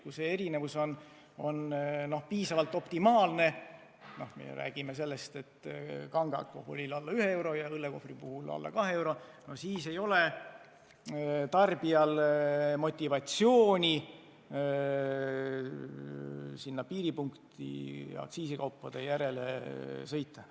Kui see erinevus on optimaalne – me ju oleme rääkinud, et kange alkoholi puhul võiks see olla umbes 1 euro ja õllekohvri puhul 2 eurot –, siis ei ole tarbijal motivatsiooni üle piiri aktsiisikaupade järele sõita.